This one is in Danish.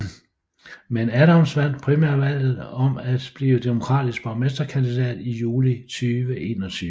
Men Adams vandt primærvalget om at blive demokratisk borgmesterkandidat i juli 2021